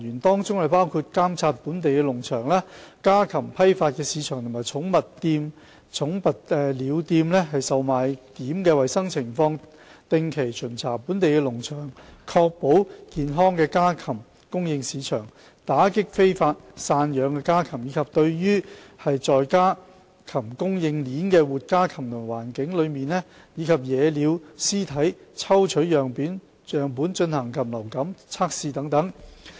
當中包括監察本地農場、家禽批發市場及寵物鳥售賣點的衞生情況；定期巡查本地農場，以確保健康的家禽供應市場；打擊非法散養家禽；及對在家禽供應鏈的活家禽及環境中，以及野鳥屍體抽取樣本進行禽流感測試等。